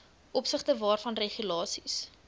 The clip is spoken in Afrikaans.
opsigte waarvan regulasies